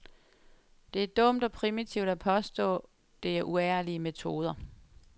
Det er dumt og primitivt at påstå, det er uærlige metoder.